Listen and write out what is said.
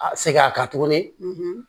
A seginna a kan tuguni